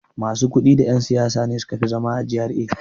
Masu kuɗi da yan' siyasa ne suka fi zama a G.R.A.